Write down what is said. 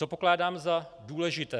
Co pokládám za důležité?